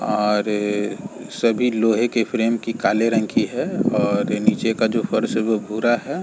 और सभी लोहे के फ्रेम की काली रंग की है और नीचे का जो फर्श हैं वो भूरा है।